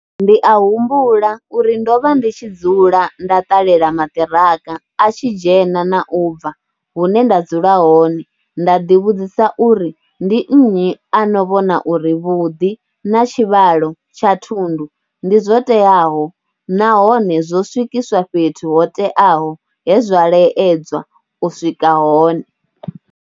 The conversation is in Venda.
Ndi a humbula uri ndo vha ndi tshi dzula nda ṱalela maṱiraka a tshi dzhena na ubva hune nda dzula hone nda ḓivhudzisa uri ndi nnyi ano vhona uri vhuḓi na tshivhalo tsha thundu ndi zwo teaho nahone zwo swikiswa fhethu hoteaho he zwa laedzwa u iswa hone.